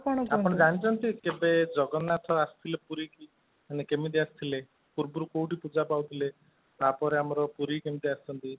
ଆପଣ ଜାଣିଛନ୍ତି, କେବେ ଜଗନ୍ନାଥ ଆସିଥିଲେ ପୁରୀ କି, ମାନେ କେମିତି ଆସିଥିଲେ, ପୂର୍ବରୁ କୋଉଠି ପୂଜା ପାଉଥିଲେ, ତାପରେ ଆମର ପୁରୀ କେମିତି ଆସିଛନ୍ତି